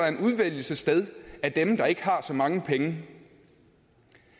en udvælgelse sted af dem der ikke har så mange penge